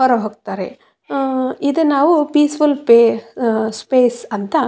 ಹೊರ ಹೋಗ್ತಾರೆ ಆ ಇದು ನಾವು ಪೀಸ್ ಫುಲ್ ಫೆ ಆ ಸ್ಪೇಸ್ ಅಂತ.